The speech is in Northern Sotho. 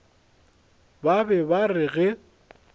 ba be ba re ge